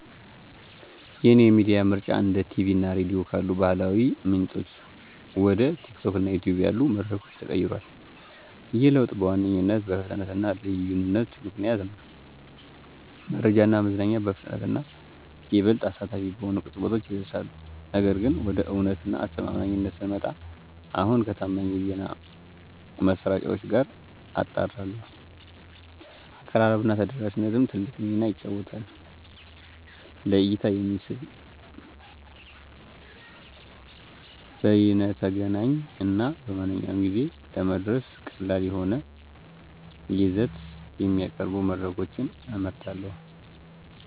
የእኔ የሚዲያ ምርጫ እንደ ቲቪ እና ራዲዮ ካሉ ባህላዊ ምንጮች ወደ TikTok እና YouTube ያሉ መድረኮች ተቀይሯል። ይህ ለውጥ በዋነኛነት በፍጥነት እና ልዩነት ምክንያት ነው—መረጃ እና መዝናኛ በፍጥነት እና ይበልጥ አሳታፊ በሆኑ ቅርጸቶች ይደርሳሉ። ነገር ግን፣ ወደ እውነት እና አስተማማኝነት ስንመጣ፣ አሁንም ከታማኝ የዜና ማሰራጫዎች ጋር አጣራለሁ። አቀራረብ እና ተደራሽነትም ትልቅ ሚና ይጫወታሉ; ለእይታ የሚስብ፣ በይነተገናኝ እና በማንኛውም ጊዜ ለመድረስ ቀላል የሆነ ይዘት የሚያቀርቡ መድረኮችን እመርጣለሁ።